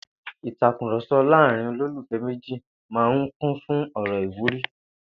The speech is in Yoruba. Ìtàkurò̩so̩ láàárín olólùfé̩ méjì máa kún fún ò̩rò̩ ìwúrí